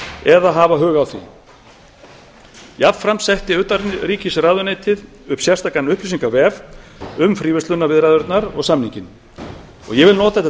eða hafa hug á því jafnframt setti utanríkisráðuneytið upp sérstakan upplýsingavef um fríverslunarviðræðurnar og samninginn og ég vil nota þetta